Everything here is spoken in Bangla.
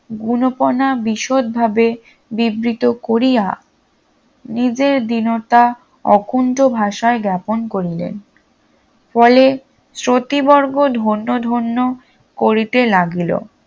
গুণপনা বিশদভাবে বিবৃত করিয়া নিজের দীনতা অকুণ্ঠ ভাষায় জ্ঞ্যাপন করিলেন ফলে শ্রতিবর্গ ধন্য ধন্য করিতে লাগিল